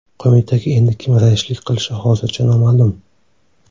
Qo‘mitaga endi kim raislik qilishi hozircha noma’lum.